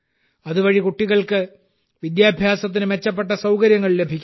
അതുവഴി കുട്ടികൾക്ക് വിദ്യാഭ്യാസത്തിന് മെച്ചപ്പെട്ട സൌകര്യങ്ങൾ ലഭിക്കുന്നു